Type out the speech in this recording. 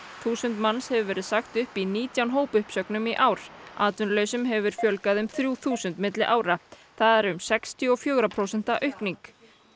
þúsund manns hefur verið sagt upp í nítján hópuppsögnum í ár atvinnulausum hefur fjölgað um þrjú þúsund milli ára það er sextíu og fjögurra prósenta aukning